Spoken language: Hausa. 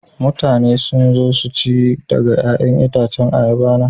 Mutane sun zo su ci daga 'ya'yan itacen ayaba na.